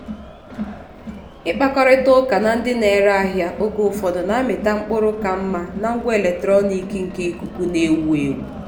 ịkpakọrịta ụka na ndị na-ere ahịa oge ụfọdụ na-amịta mkpụrụ ka mma na ngwa eletronik nke ikuku na-ewu ewu.